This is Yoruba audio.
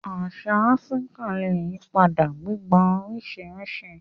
Àṣà Áfíríkà lè yí padà, gbígba oríṣiríṣi